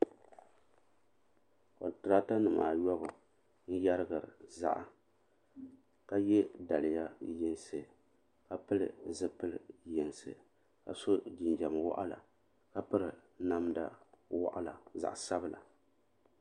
Kontirata nima ayɔbu n yerigiri ziɣa ka ye daliya yinsi ka pili zipili yinsi ka so jinjiɛm woɣala ka piri namda woɣala zaɣa sabla.